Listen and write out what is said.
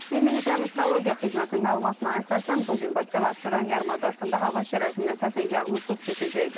Milli Hidrometeorologiya Xidmətinin məlumatına əsasən bu gün Bakıda və Abşeron yarımadasında hava şəraitinin əsasən yağmursuz keçəcəyi gözlənilir.